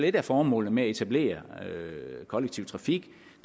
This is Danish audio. et af formålene med at etablere kollektiv trafik